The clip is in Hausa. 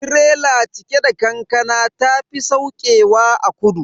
Tirela cike da kankana ta tafi saukewa a kudu.